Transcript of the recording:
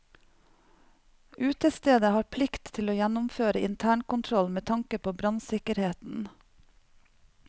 Utestedet har plikt til å gjennomføre internkontroll med tanke på brannsikkerheten.